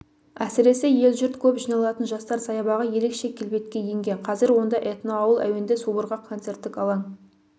әсіресе ел-жұрт көп жиналатын жастар саябағы ерекше келбетке енген қазір онда этноауыл әуенді субұрқақ концерттік алаң